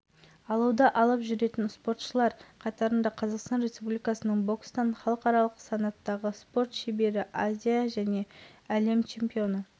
облысының осы әлемдік спорттық жарысқа атсалысатыны өз аумағындағы спорттық нысандарында спортшыларды қабылдайтыны біз үшін қуанышты